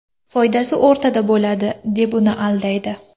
Foydasi o‘rtada bo‘ladi”, deb uni aldaydi.